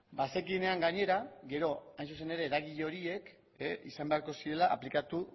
bazekienean gainera gero hain zuzen ere eragile horiek izan beharko zirela aplikatu